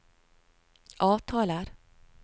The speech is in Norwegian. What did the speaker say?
avtaler